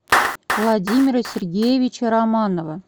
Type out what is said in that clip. владимира сергеевича романова